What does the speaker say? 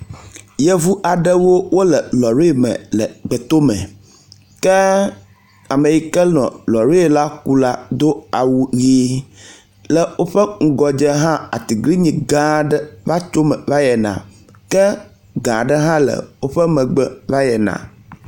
Yevuaɖewo wóle lɔri me le gbetome, ke ameyike nɔ lɔri la ku la dó yie, le wóƒe ŋgɔdze hã atiglinyi gãa aɖe vatsome váyina ke gãa ɖe hã le wóƒe megbe váyina